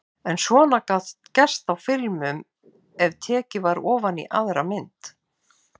En svona gat gerst á filmum ef tekið var ofan í aðra mynd.